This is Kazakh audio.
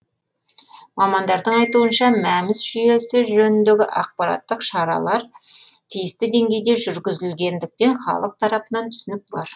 мамандардың айтуынша мәмс жүйесі жөніндегі ақпараттық шаралар тиісті деңгейде жүргізілгендіктен халық тарапынан түсінік бар